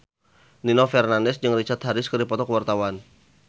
Nino Fernandez jeung Richard Harris keur dipoto ku wartawan